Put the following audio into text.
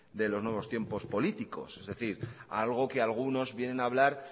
de los nuevos tiempos políticos es decir algo que algunos vienen a hablar